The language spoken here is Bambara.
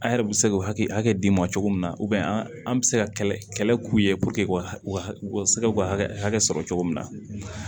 An yɛrɛ bɛ se k'o hakɛ di ma cogo min na an an bɛ se ka kɛlɛ k'u ye puruke u ka u ka se k'u ka hakɛ sɔrɔ cogo min na